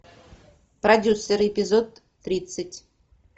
продюсер эпизод тридцать